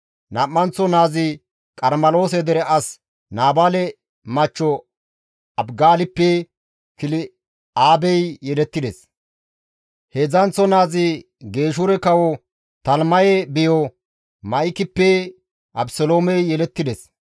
Nam7anththo naazi Qarmeloose dere as Naabaale machcho Abigaalippe Kil7aabey yelettides; heedzdzanththo naazi Geeshure kawo Talimaye biyo Ma7ikippe Abeseloomey yelettides.